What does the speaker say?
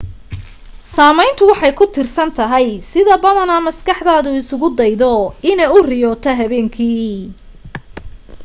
saameyntu waxay ku tiirsan tahay sida badanaa maskaxdaadu isagu daydaydo inay u riyooto habeenkii